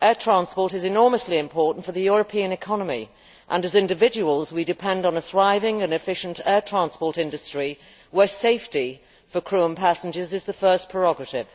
air transport is enormously important for the European economy, and as individuals, we depend on a thriving and efficient air transport industry where safety for crew and passengers is the first prerogative.